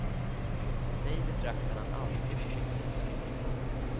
Mig betraktade han alltid som misslyckad.